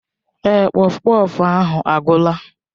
Èé, kpọfkpọf ahụ agwụla.